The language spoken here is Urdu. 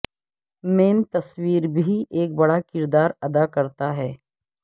مین تصویر بھی ایک بڑا کردار ادا کرتا ہے